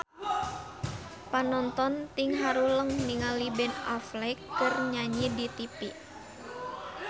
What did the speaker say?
Panonton ting haruleng ningali Ben Affleck keur nyanyi di tipi